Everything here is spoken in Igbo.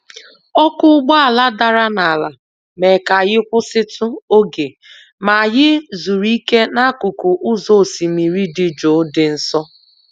ọkụ́ ụgbọala dara n'ala mee ka anyị kwụsịtụ oge, ma anyị zuru ike n'akụkụ ụzọ osimiri dị jụụ dị nso.